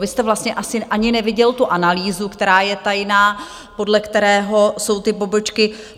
Vy jste vlastně asi ani neviděl tu analýzu, která je tajná, podle které jsou ty pobočky.